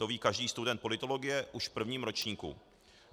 To ví každý student politologie už v prvním ročníku.